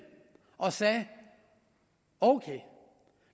og sagde okay